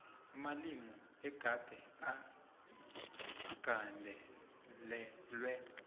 amalimi egade agandelelwe